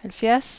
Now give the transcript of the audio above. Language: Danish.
halvfjerds